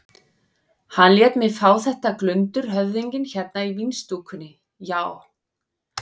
Hann lét mig fá þetta glundur höfðinginn hérna í vínstúkunni, já.